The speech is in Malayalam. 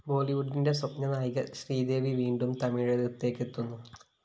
ബോളിവുഡിന്റെ സ്വപ്നനായിക ശ്രീദേവി വീണ്ടും തമിഴകത്തേയ്ക്കെത്തുന്നു